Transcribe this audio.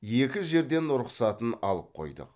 екі жерден рұқсатын алып қойдық